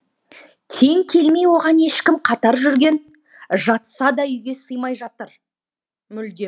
тең келмей оған ешкім қатар жүрген жатса да үйге сыймай жатар мүлдем